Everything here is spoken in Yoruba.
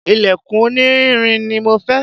ilẹ̀kùn onírin ni mo fẹ́